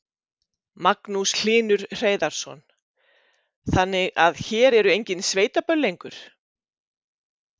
Magnús Hlynur Hreiðarsson: Þannig að hér eru engin sveitaböll lengur?